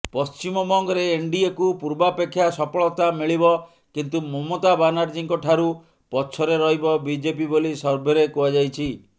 ପଶ୍ଚିମବଙ୍ଗରେ ଏନ୍ଡିଏକୁ ପୂର୍ବାପେକ୍ଷା ସଫଳତା ମିଳିବ କିନ୍ତୁ ମମତା ବାନାର୍ଜିଙ୍କଠାରୁ ପଛରେ ରହିବ ବିଜେପି ବୋଲି ସର୍ଭେରେ କୁହାଯାଇଛି